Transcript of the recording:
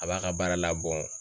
A b'a ka baara labɔ